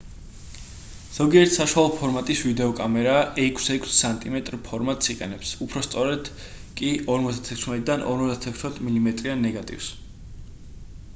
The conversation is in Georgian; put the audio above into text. ზოგიერთი საშუალო ფორმატის ვიდეოკამერა 6-6 სმ ფორმატს იყენებს უფრო სწორედ კი 56-დან 56 მმ-იან ნეგატივს